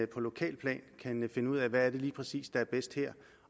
på lokalt plan kan finde ud af hvad det lige præcis er der er bedst her